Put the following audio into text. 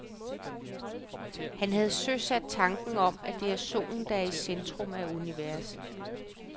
Han havde søsat tanken om, at det er solen, der er i centrum af universet.